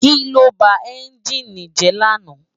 Kiló bá ènjini jè làná?